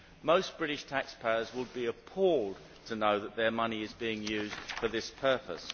Most British taxpayers would be appalled to know that their money is being used for this purpose.